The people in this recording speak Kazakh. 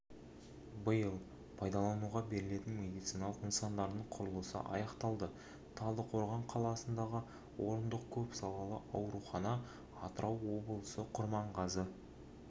биыл пайдалануға берілетін медициналық нысандардың уінің құрылысы аяқталды талдықорған қаласындағы орындық көпсалалы аурухана атырау облысы құрманғазы